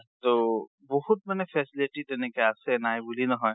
ট বহুত মানে facility তেনেকে আছে নাইবুলি নহয়।